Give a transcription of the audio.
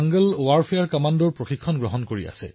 তেওঁলোকে স্বাভাৱিকতে তেওঁলোকৰ সৈতে সংযুক্ত অনুভৱ কৰে